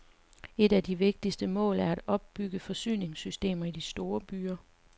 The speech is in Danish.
Et af de vigtigste mål er at opbygge forsyningssystemer i de store byer.